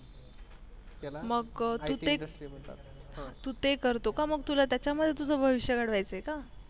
त्याला मग तु ते itindustry म्हणतात तु ते करतो का मग तुला त्याच्यामध्ये आपलं भविष्य घडवायचं आहे का